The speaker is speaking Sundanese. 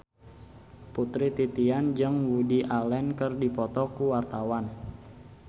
Putri Titian jeung Woody Allen keur dipoto ku wartawan